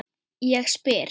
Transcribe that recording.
Ég spyr?